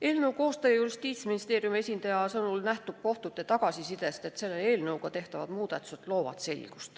Eelnõu koostaja, Justiitsministeeriumi esindaja sõnul nähtub kohtute tagasisidest, et selle eelnõuga tehtavad muudatused loovad selgust.